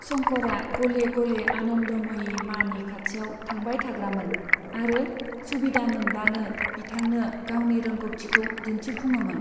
शंकरआ गले गले आनन्दमयी मानि खाथियाव थांबाय थाग्रामोन आरो सुबिदा मोनब्लानो बिथांनो गावनि रोंगौथिखौ दिन्थिफुङोमोन।